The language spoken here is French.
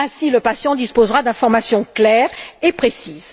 Ainsi, le patient disposera d'informations claires et précises.